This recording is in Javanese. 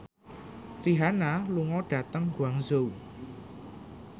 Rihanna lunga dhateng Guangzhou